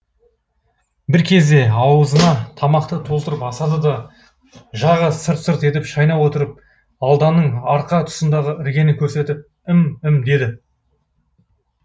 бір кезде аузына тамақты толтырып асады да жағы сырт сырт етіп шайнап отырып алданның арқа тұсындағы іргені көрсетіп ім ім деді